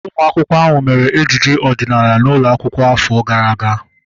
Ụmụ akwụkwọ ahu mere ejije ọdịnala n'ụlọ akwụkwọ afọ gara aga